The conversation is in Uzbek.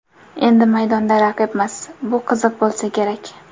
Endi maydonda raqibmiz, bu qiziq bo‘lsa kerak”.